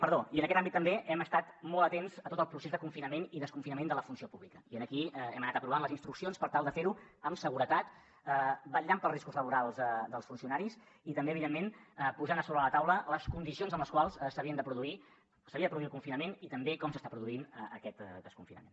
perdó i en aquest àmbit també hem estat molt atents a tot el procés de confinament i desconfinament de la funció pública i aquí hem anat aprovant les instruccions per tal de fer ho amb seguretat vetllant pels riscos laborals dels funcionaris i també evidentment posant a sobre de la taula les condicions amb les quals s’havia de produir el confinament i també com s’està produint aquest desconfinament